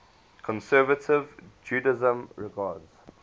conservative judaism regards